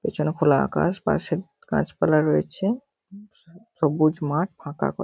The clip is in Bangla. পেছনে খোলা আকাশ পাশে গাছপালা রয়েছে। উম সা সবুজ মাঠ ফাঁকা কল--